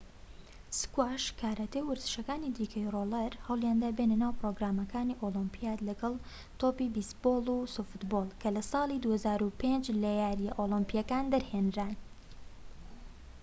سکواش کاراتێ و وەرزشەکانی دیکەی ڕۆڵەر هەوڵیاندا بێنە ناو پرۆگرامەکانی ئۆلیمپیات لەگەڵ تۆپی بێیسبۆڵ و سۆفتبۆڵ کە لە ساڵی 2005 لە یارییە ئۆلیمپییەکان دەرهێنران